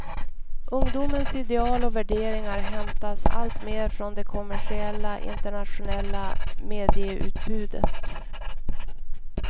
Ungdomens ideal och värderingar hämtas alltmer från det kommersiella internationella medieutbudet.